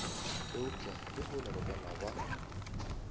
eupša lehono re bona ba